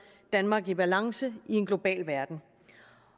danmark i balance i en global verden